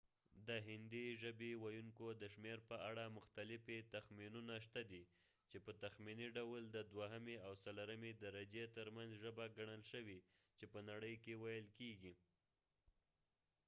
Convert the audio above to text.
د هندی ژبی ویونکو د شمیر په اړه مختلفی تخمینونه شته دی چی په تخمینی ډول د دوهمی او څلورمی درجی تر منځ ژبه ګنل شوی چی په نړی کی ویل کیږی